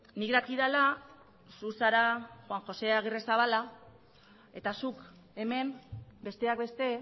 nik dakidala zu zara juan josé agirrezabala eta zuk hemen besteak beste